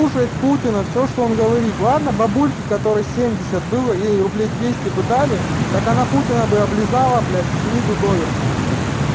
слушают путина всё что он говорит ладно бабульки которые семьдесят было ей рублей двести бы дали так она путина бы облизала блядь снизу доверху ебать